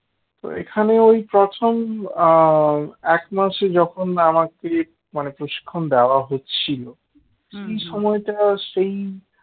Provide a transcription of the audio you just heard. তো এখানেই ওই প্রথম এক মাসে যখন আমাকে মানে প্রশিক্ষণ দেওয়া হচ্ছিল সেই সময়টা সেই